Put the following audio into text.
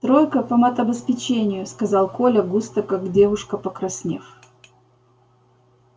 тройка по матобеспечению сказал коля густо как девушка покраснев